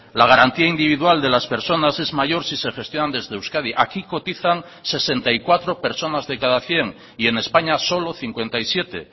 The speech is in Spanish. la garantía individual de las personas es mayor si se gestionan desde euskadi aquí cotizan sesenta y cuatro personas de cada cien y en españa solo cincuenta y siete